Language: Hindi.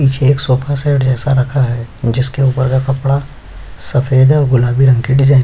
नीचे एक सोफा सेट जैसा रखा है जिसके ऊपर का कपड़ा सफेद और गुलाबी रंग के डिजाइन --